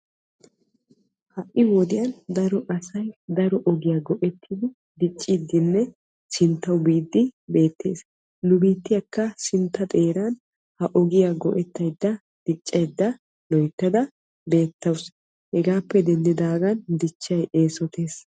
Ha'i wodiyan daro asay daro ogiya go'ettiddi dicciddinne sinttawu biiddi beetes. Nu biitiyakka hegaadan keehippe diccaydde beetawussu.